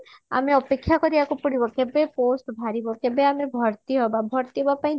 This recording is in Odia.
ଆମେ ଅପେକ୍ଷ୍ୟା କରିବାକୁ ପଡିବ କେବେ post ବାହାରିବ କେବେ ଆମେ ଭର୍ତି ହବା ଭର୍ତି ହବା ପାଇଁ